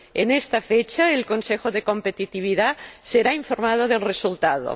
En esta fecha, el Consejo de Competitividad será informado del resultado.